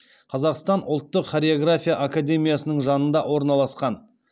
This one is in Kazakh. қазақстан ұлттық хореография академиясының жанында орналасқан